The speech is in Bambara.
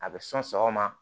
A bɛ sɔn sɔgɔma